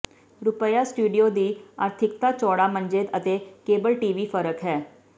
ਰੁਪਿਆ ਸਟੂਡੀਓ ਦੀ ਆਰਥਿਕਤਾ ਚੌੜਾ ਮੰਜੇ ਅਤੇ ਕੇਬਲ ਟੀ ਵੀ ਫ਼ਰਕ ਹੈ